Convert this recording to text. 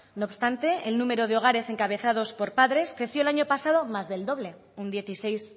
no obstante el número de hogares encabezados por padres creció el año pasado más del doble un dieciséis